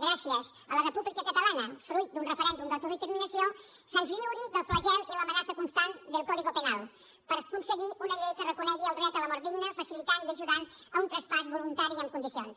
gràcies a la república catalana fruit d’un referèndum d’autodeterminació se’ns lliuri del flagel i l’amenaça constant del código penal per aconseguir una llei que reconegui el dret a la mort digna facilitant i ajudant a un traspàs voluntari i en condicions